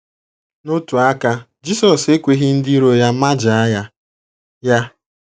N’otu aka, Jisọs ekweghị ndị iro ya majaa ya. ya.